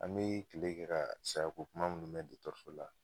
An be kile kɛ ka sayako kuma munnu mɛn dɔgɔtɔrɔso la